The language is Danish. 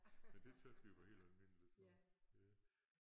Men det tys vi var helt almindeligt så ja